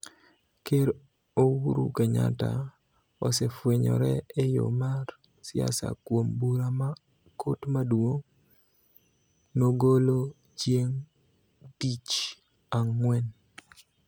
Ker Ouru Kenyatta osefwenyore e yo mar siasa kuom bura ma Kot Maduong� nogolo chieng� tich ang�wen,